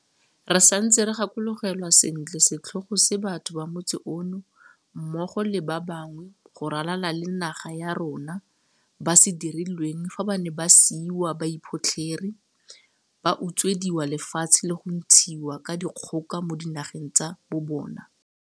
Re santse re gakologelwa sentle setlhogo se batho ba motse ono, mmogo le ba bangwe go ralala le naga ya rona, ba se dirilweng fa ba ne ba siiwa ba iphotlhere, ba utswediwa lefatshe le go ntshiwa ka dikgoka mo dinageng tsa bobona.